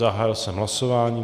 Zahájil jsem hlasování.